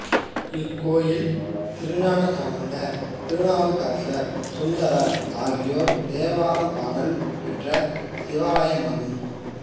இக் கோயில் திருஞானசம்பந்தர் திருநாவுக்கரசர் சுந்தரர் ஆகியோரால் தேவாரம் பாடல் பெற்ற சிவத்தலமாகும்